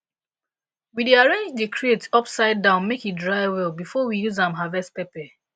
we dey arrange di crate upside down make e dry well before we use am harvest pepper